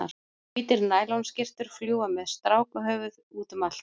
Hvítar nælonskyrtur fljúga með strákahöfuð útum allt.